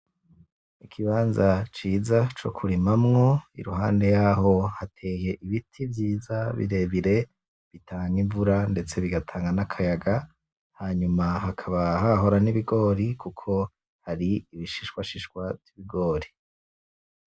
Ikibanza ciza c'okurimamwo iruhande yaho hateye ibiti vyiza birerebire bitanga imvura ndetse bigatanga n'akayaga. Hanyuma hakaba hahora n'ibigori, kuko hari ibishishwa shishwa vy'ibigori.